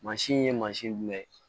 Mansin in ye mansin jumɛn ye